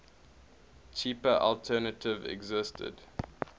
cheaper alternative existed